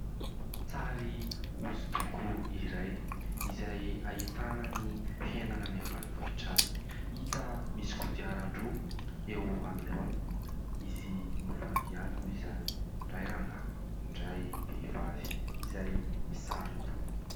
Sary hosodoko iray izay hahitana ny fiainana any ambanivohitra any. Hita misy kodIaran-droa eo anoloana. Izy mIvady ihany moa izany. Ny iray rangahy, ny iray vehivavy izay misaron-doha.